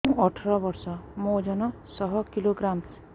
ମୁଁ ଅଠର ବର୍ଷ ମୋର ଓଜନ ଶହ କିଲୋଗ୍ରାମସ